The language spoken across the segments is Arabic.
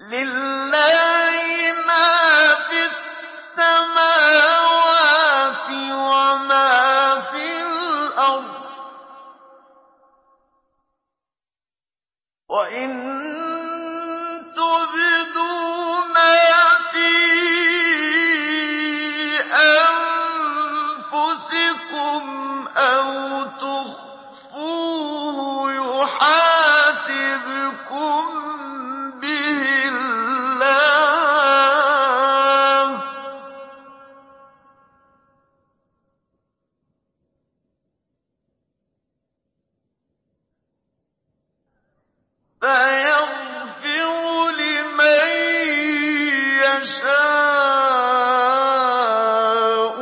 لِّلَّهِ مَا فِي السَّمَاوَاتِ وَمَا فِي الْأَرْضِ ۗ وَإِن تُبْدُوا مَا فِي أَنفُسِكُمْ أَوْ تُخْفُوهُ يُحَاسِبْكُم بِهِ اللَّهُ ۖ فَيَغْفِرُ لِمَن يَشَاءُ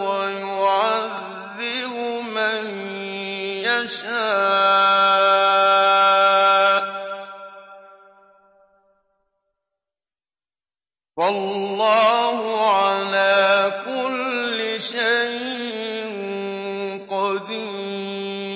وَيُعَذِّبُ مَن يَشَاءُ ۗ وَاللَّهُ عَلَىٰ كُلِّ شَيْءٍ قَدِيرٌ